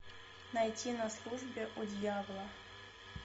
найти на службе у дьявола